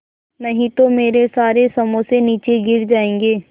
नहीं तो मेरे सारे समोसे नीचे गिर जायेंगे